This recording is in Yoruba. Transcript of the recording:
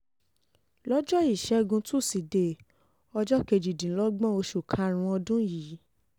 lọ́jọ́ ìṣẹ́gun tusidee ọjọ́ kejìdínlọ́gbọ̀n oṣù karùn-ún ọdún yìí